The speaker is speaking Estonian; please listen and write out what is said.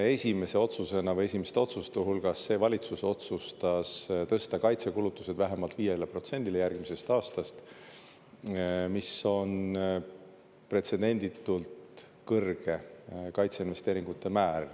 Esimese otsusena või esimeste otsuste hulgas see valitsus otsustas tõsta kaitsekulutused vähemalt 5%-le järgmisest aastast, mis on pretsedenditult kõrge kaitseinvesteeringute määr.